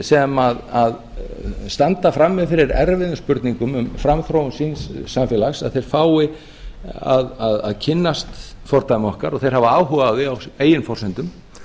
sem standa frammi fyrir erfiðum spurningum um framþróun síns samfélags fái að kynnast fordæmi okkar og þeir hafa áhuga á því á eigin forsendum